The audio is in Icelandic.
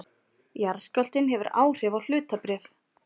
Jarðskjálftinn hefur áhrif á hlutabréf